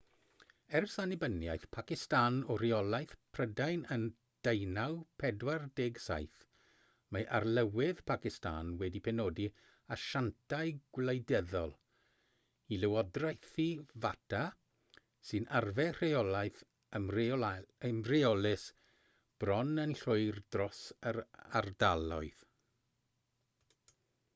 ers annibyniaeth pacistan o reolaeth prydain yn 1947 mae arlywydd pacistan wedi penodi asiantau gwleidyddol i lywodraethu fata sy'n arfer rheolaeth ymreolus bron yn llwyr dros yr ardaloedd